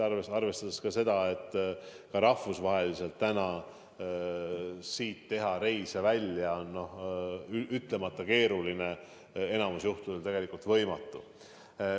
Aga ka teha Eestist välja rahvusvahelisi reise on ütlemata keeruline, enamikul juhtudel tegelikult võimatu.